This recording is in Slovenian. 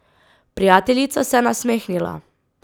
Prijateljica se je nasmehnila.